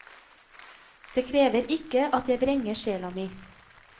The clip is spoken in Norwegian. Det krever ikke at jeg vrenger sjela mi.